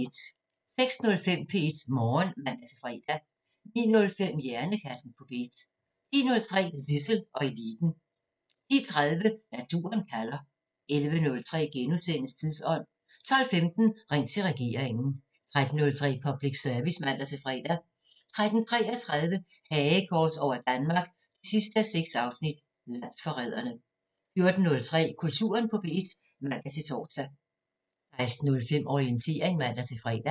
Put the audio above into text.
06:05: P1 Morgen (man-fre) 09:05: Hjernekassen på P1 10:03: Zissel og Eliten 10:30: Naturen kalder 11:03: Tidsånd * 12:15: Ring til regeringen 13:03: Public Service (man-fre) 13:33: Hagekors over Danmark 6:6 – Landsforrædere 14:03: Kulturen på P1 (man-tor) 16:05: Orientering (man-fre)